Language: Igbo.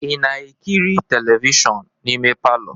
Ị na-ekiri telivishọn n'ime palọ?